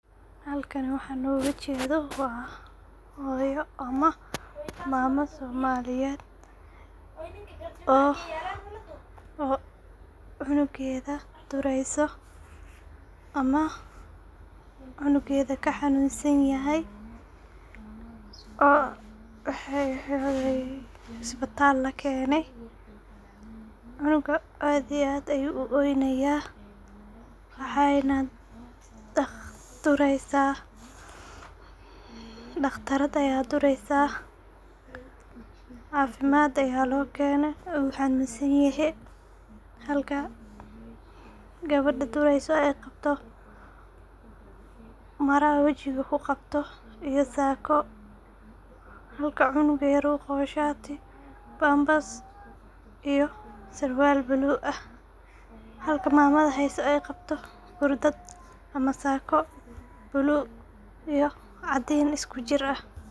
Halkan waxanoga jeedo waa hooyo, amah mama somaliyed oo cunugeeda hayso amah cunugeda kaxanunsan yaxay oo hospital lakeene cunuga aad iyo aad ayu uoynaya waxayna dureysa daqtarad aya dureysa cafimad aya loo keenay uu xanunsan yexe xalka gawada dureyso ayy qabto mara wajiga kuqabto iyo saako, xalka cunuga yar uuqabo bambas iyo surwal ble ah xalka mamada heyso ay qabto gurdad ama saako blue caadin iskujir ah.